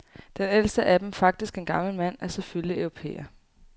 Den ældste af dem, faktisk en gammel mand, er selvfølgelig europæer.